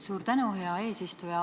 Suur tänu, hea eesistuja!